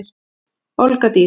Olga Dís.